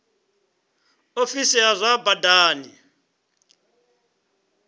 ofisi ya zwa badani i